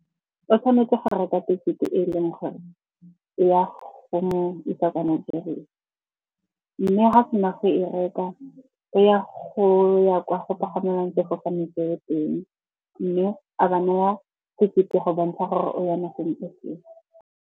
O tshwanetse go reka ticket-e e leng gore ya go mo isa kwa Nigeria. Mme ga a sena go e reka o ya go ya kwa go pagamelwang sefofane seo teng. Mme a ba naya ticket-e go bontsha gore o ya nageng e feng.